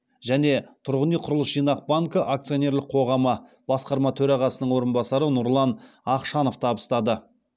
және тұрғын үй құрылыс жинақ банкі акционерлік қоғамы басқарма төрағасының орынбасары нұрлан ақшанов табыстады